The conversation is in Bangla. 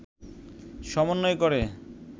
সমন্বয় করে